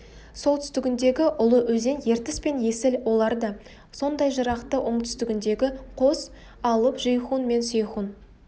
солтүстігіндегі ұлы өзен ертіс пен есіл олар да сондай жырақта оңтүстігіндегі қос алып жейхун мен сейхун